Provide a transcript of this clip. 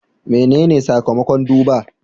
Menene sakamakon duba?